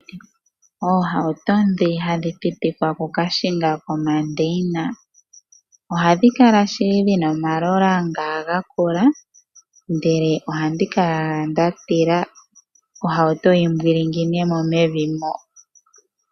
Oohawuto ndhi hadhi pitikwa okukahingwa komandeyina ohadhi kala shili dhina omalola nga omanene, ndele ohandi kala owala nda tila ohawuto yi mbwilingine mo mevi mo.